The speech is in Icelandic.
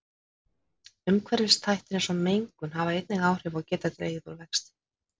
Umhverfisþættir eins og mengun hafa einnig áhrif og geta dregið úr vexti.